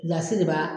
Gilasi de b'a